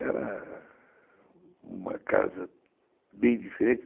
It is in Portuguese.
Era uma casa bem diferente.